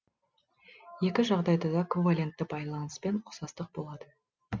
екі жағдайда да ковалентті байланыспен ұқсастық болады